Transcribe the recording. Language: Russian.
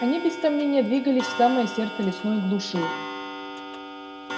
они без сомнения двигались в самое сердце лесной глуши